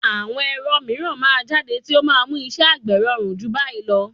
Àwọn ẹ̀rọ mìíràn máa jáde tí ó máa mú iṣẹ́ àgbè rọrùn jù báyìí lọ.